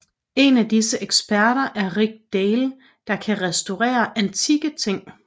En af disse eksperter er Rick Dale der kan restaurerer antikke ting